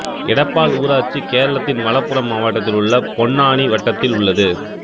எடப்பாள் ஊராட்சி கேரளத்தின் மலப்புறம் மாவட்டத்தில் பொன்னானி வட்டத்தில் உள்ளது